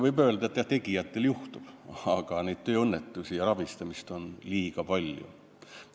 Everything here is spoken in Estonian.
Võib öelda jah, et tegijatel juhtub, aga neid tööõnnetusi ja rabistamist on liiga palju.